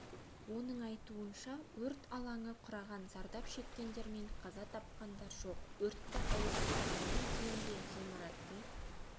оның айтуынша өрт алаңы құраған зардап шеккендер мен қаза тапқандар жоқ өртті ауыздықтағаннан кейін де ғимараттың